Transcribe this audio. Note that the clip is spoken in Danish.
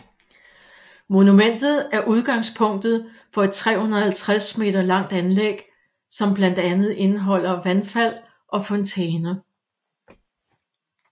Monumentet er udgangspunktet for et 350 meter langt anlæg som blandt andet indeholder vandfald og fontæner